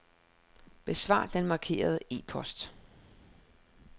Besvar den markerede e-post.